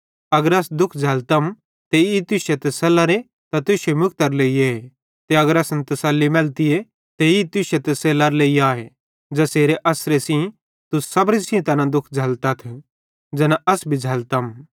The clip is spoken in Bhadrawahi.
अगर अस दुःख झ़ैल्लतम ते ई तुश्शे तसल्लरे ते तुश्शे मुक्तरे लेइए ते अगर असन तसल्ली मैलतीए ते ई तुश्शे तसल्लरे लेइ आए ज़ेसेरे अस्सरे सेइं तुस सबरी सेइं तैना दुखन झ़ल्लतथ ज़ैना अस भी झ़ल्लतम